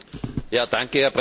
Herr Präsident!